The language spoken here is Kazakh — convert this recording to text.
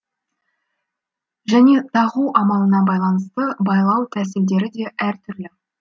және тағу амалына байланысты байлау тәсілдері де әр түрлі